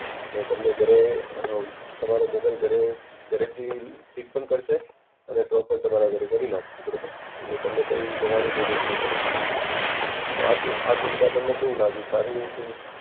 ને તમને ઘરે અમ તમારો મોબાઈલ ઘરે, ઘરેથી પીક પણ કારસે અને ડ્રોપ પણ તમારા ઘરે કરી નાખશે બરોબર. એટલે કઈ જવાની જરૂરત ની પડે તો આ સુ આ સુવિધા તમને કેવું લાગ્યું? સારી